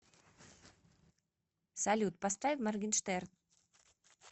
салют поставь моргенштерн